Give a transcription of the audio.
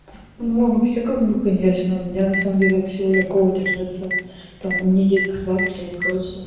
но вообще как бы конечно у меня на самом деле от всего легко удержаться там не есть сладкое и прочее